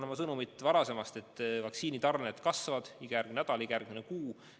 Ja ma kordan varasemat sõnumit: vaktsiinitarned kasvavad iga nädal, iga kuu.